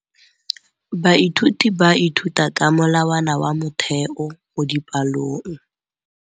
Baithuti ba ithuta ka molawana wa motheo mo dipalong.